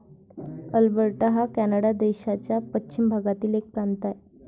Alberta हा Canada देशाच्या पश्चिम भागातील एक प्रांत आहे.